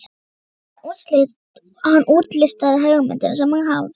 Hann útlistaði hugmyndina sem hann hafði fengið.